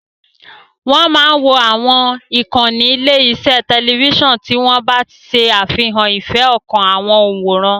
Wọ́n máa wo àwọn ìkànnì ilé-iṣẹ́ tẹlifíṣàn tí wọ́n bá ṣe àfihàn ìfẹ́ ọkàn àwọn òǹwòran.